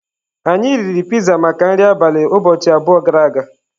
Anyị riri pizza maka nri abalị ụbọchị abụọ gara aga.